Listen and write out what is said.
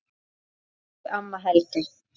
Elsku amma Helga.